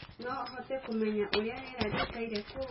no hote kumenya uria rĩera rĩĩkaĩre kou